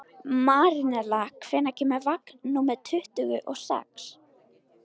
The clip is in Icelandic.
Marinella, hvenær kemur vagn númer tuttugu og sex?